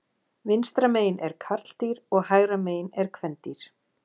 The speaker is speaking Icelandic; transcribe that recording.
Vinstra megin er karldýr og hægra megin er kvendýr.